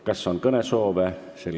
Kas on kõnesoove?